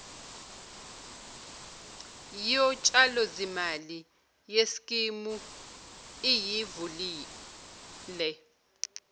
yotshalozimali yeskimu iyivulela